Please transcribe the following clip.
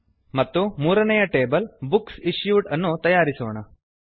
ಮತ್ತು ಮೂರನೆಯ table books issued ಅನ್ನು ತಯಾರಿಸೋಣ